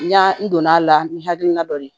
N ɲa n donn'a la ni hakilina dɔ ye